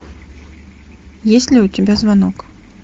есть ли у тебя звонок